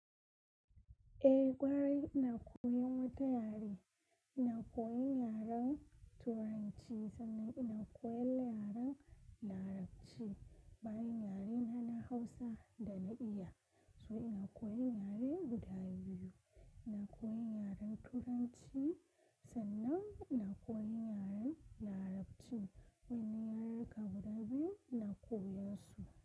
Eh, ƙwarai ina koyan wata yare. Ina koyan yaren Turanci sannan ina koyan yaren Larabci. Bayan yare na Hausa da na iya. To ina koyan yare guda biyu. Ina koyan yaren Turanci sannan ina koyan yaren Larabci. Wani yare ka buɗe ina koyan su?